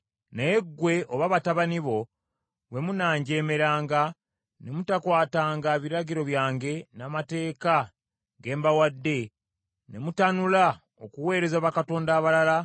“Naye ggwe oba batabani bo bwe munanjeemeranga ne mutakwatanga biragiro byange n’amateeka ge mbawadde, ne mutanula okuweereza bakatonda abalala,